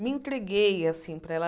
Me entreguei assim para ela.